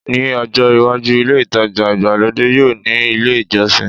Ní ọjọ́ iwájú, ilé ìtajà ìgbàlódé yóò ní ilé ìjọsìn